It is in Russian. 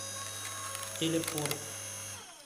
телепорт